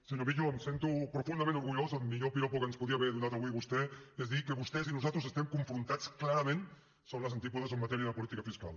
senyor millo em sento profundament orgullós el millor piropo que ens podia haver donat avui vostè és dir que vostès i nosaltres estem confrontats clarament som les antípodes en matèria de política fiscal